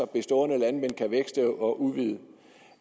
bestående landmænd kan vækste og udvide